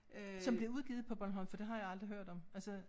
Som blev udgivet på Bornholm for det har jeg aldrig hørt om altså